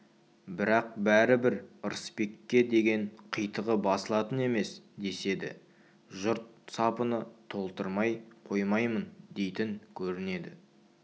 бірақ бәрібір ырысбекке деген қитығы басылатын емес деседі жұрт сапыны таптырмай қоймаймын дейтін көрінеді